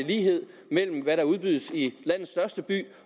lighed mellem hvad der udbydes i landets største byer